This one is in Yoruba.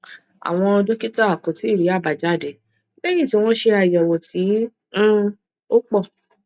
àwọn dókítà kò tíì rí àbájáde léyìn tí wọn ṣe ayewo tí um ó pọ